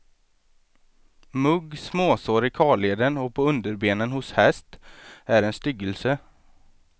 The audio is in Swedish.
Mugg, småsår i karleden och på underbenen hos häst, är en styggelse.